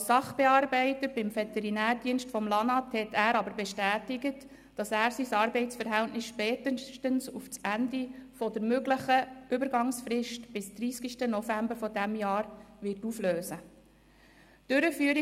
Als Sachbearbeiter beim Veterinärdienst des Amts für Landwirtschaft und Natur (LANAT) hat er aber bestätigt, dass er sein Arbeitsverhältnis spätestens auf Ende der möglichen Übergangsfrist, bis zum 30. November dieses Jahres, auflösen wird.